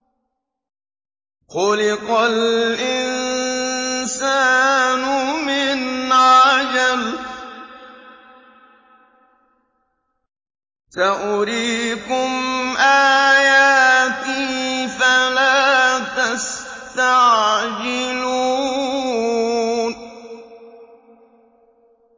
خُلِقَ الْإِنسَانُ مِنْ عَجَلٍ ۚ سَأُرِيكُمْ آيَاتِي فَلَا تَسْتَعْجِلُونِ